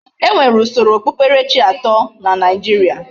E nwere usoro okpukperechi ato na Naijiria.